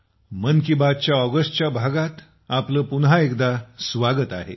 मन की बात च्या ऑगस्ट भागात आपले पुन्हा एकदा खूप खूप स्वागत आहे